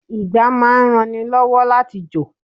Ìgbá máa ń ran ni lọ́wọ́ láti jò.